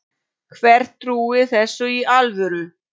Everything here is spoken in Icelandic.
Hver trúir þessu í alvöru?